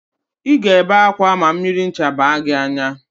Ị ga-ebe ákwá ma mmiri ncha baa gị n'anya